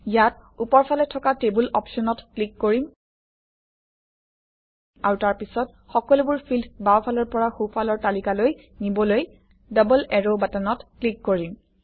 ইয়াত ওপৰফালে থকা টেবুল অপশ্যনত ক্লিক কৰিম আৰু তাৰপিছত সকলোবোৰ ফিল্ড বাওঁফালৰ পৰা সোঁফালৰ তালিকালৈ নিবলৈ ডবল এৰো বাটনত ক্লিক কৰিম